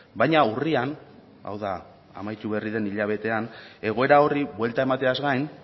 baina urrian hau da amaitu berri den hilabetean egoera horri buelta emateaz gain